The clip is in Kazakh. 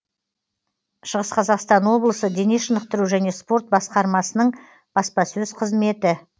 шығыс қазақстан облысының дене шынықтыру және спорт басқармасының баспасөз қызметі